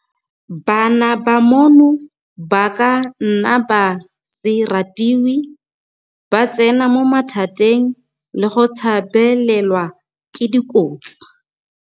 Bana bano ba ka nna ba se ratiwe, ba tsena mo mathateng le go tshabelelwa ke dikotsi.